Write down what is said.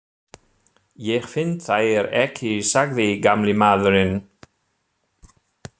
Ég finn þær ekki sagði gamli maðurinn.